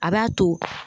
A b'a to